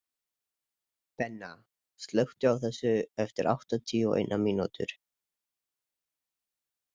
Benna, slökktu á þessu eftir áttatíu og eina mínútur.